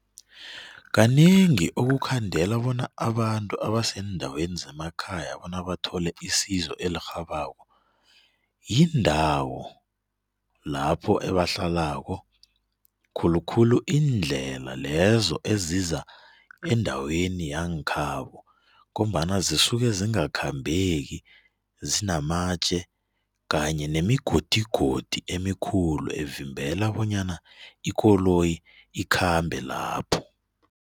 Kanengi ukukhandela bona abantu abaseendaweni zemakhaya bona bathole isizo elirhabako yindawo lapho ebahlalako khulukhulu iindlela lezo eziza endaweni yangekhabo ngombana zisuke zingakhambeki zinamatje kanye nemigodigodi emikhulu evimbela bonyana ikoloyi ikhambe lapho.